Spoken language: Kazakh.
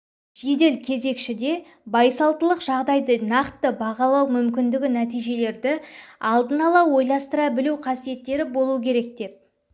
жедел кезекшіде байсалдылық жағдайды нақты бағалау мүмкіндігі нәтижелерді алдын ала ойластыра білу қасиеттері болу керек деп